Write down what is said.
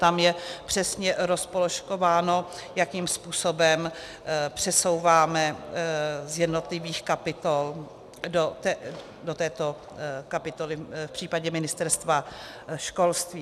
Tam je přesně rozpoložkováno, jakým způsobem přesouváme z jednotlivých kapitol do této kapitoly v případě Ministerstva školství.